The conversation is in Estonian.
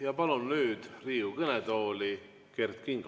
Ja palun nüüd Riigikogu kõnetooli Kert Kingo.